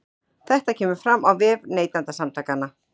Þetta kemur fram á vef Neytendasamtakanna